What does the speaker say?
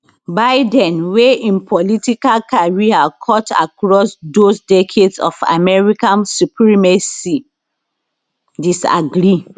biden wey im political career cut across those decades of american supremacy disagree